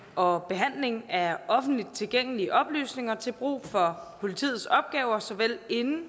og behandling af offentligt tilgængelige oplysninger til brug for politiets opgaver såvel inden